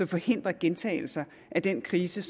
forhindrer gentagelser af den krise